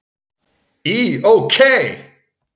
Í OK!